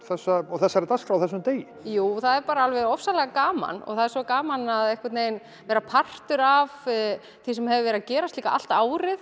þessari dagskrá á þessum degi jú það er bara alveg ofsalega gaman og það er svo gaman að vera einhvern veginn partur af því sem hefur verið að gerast líka allt árið